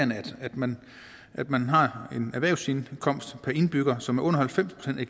man at man har en erhvervsindkomst per indbygger som er under halvfems procent af